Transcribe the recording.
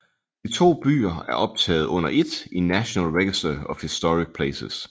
De to byer er optaget under ét i National Register of Historic Places